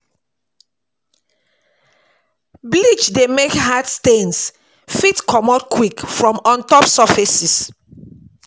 Bleach dey make hard stains fit stains fit comot quick from ontop surfaces